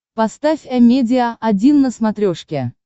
поставь амедиа один на смотрешке